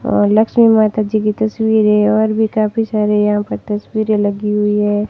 और लक्ष्मी माता जी की तस्वीर है और भी काफी सारे यहां पे तस्वीरे लगी हुई हैं।